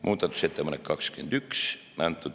Muudatusettepanek nr 21.